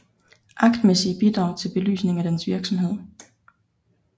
Aktmæssige bidrag til belysning af dens virksomhed